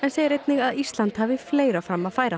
segir einnig að Ísland hafi fleira fram að færa